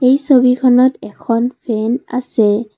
ই ছবিখনত এখন ফেন আছে।